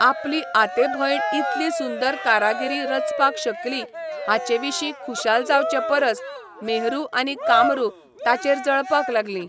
आपलीआते भयण इतली सुंदर कारागिरी रचपाक शकली हाचेविशीं खुशाल जावचे परस मेहरू आनी कामरू ताचेर जळपाक लागलीं.